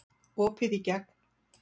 Opið í gegn